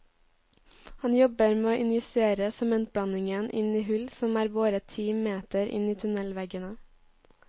Han jobber med å injisere sementblandingen inn i hull som er boret ti meter inn i tunnelveggene.